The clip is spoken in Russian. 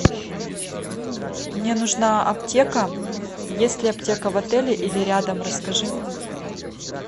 мне нужна аптека есть ли аптека в отеле или рядом расскажи